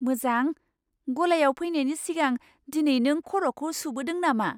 मोजां! गलायाव फैनायनि सिगां दिनै नों खर'खौ सुबोदों नामा?